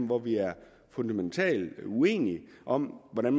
hvor vi er fundamentalt uenige om hvordan